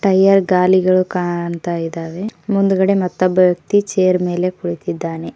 Tyre ಗಾಲಿಗಳು ಕಾಣ್ತಾ ಇದಾವೆ ಮುಂದುಗಡೆ ಮತ್ತು ಬಯಕೆ ಚೇರ್ ಮೇಲೆ ಕುಳಿತಿದ್ದಾನೆ.